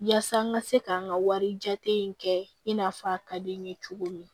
Yaasa n ka se ka n ka wari jate in kɛ i n'a fɔ a ka di n ye cogo min